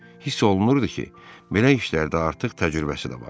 Hiss olunurdu ki, belə işlərdə artıq təcrübəsi də var.